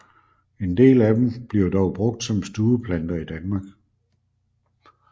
En del af dem bliver dog brugt som stueplanter i Danmark